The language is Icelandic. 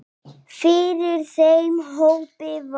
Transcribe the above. Fyrir þeim hópi var